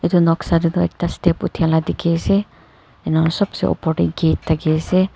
Etu noksa dae tuh ekta step othaila dekhe ase enika sobh se opor dae gate thakey ase.